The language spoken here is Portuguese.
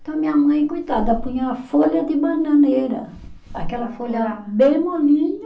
Então minha mãe, coitada, punha a folha de bananeira, aquela folha bem molinha,